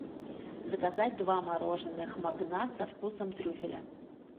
заказать два мороженых магнат со вкусом трюфеля